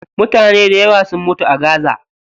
Mutane dayawa sun mutu a gaza.